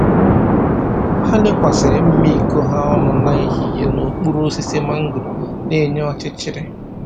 Ha lekwasịrị mma iko ha ọnụ n’ehihie n’okpuru osisi mangoro na-enye ọchịchịrị.